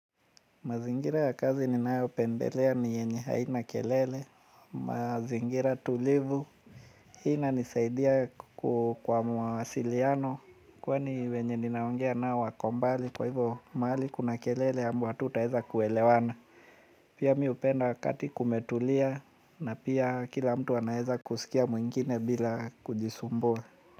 Mazingira ya kazi ninayopendelea ni yenye haina kelele, mazingira tulivu, hii inanisaidia kwa mawasiliano kwani wenye ninaongea nao wako mbali kwa hivyo mahali kuna kelele hatutaeza kuelewana. Pia mimi hupenda wakati kumetulia na pia kila mtu anaeza kusikia mwingine bila kujisumbua.